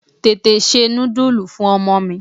Tètè se nudulu fún ọmọ mi.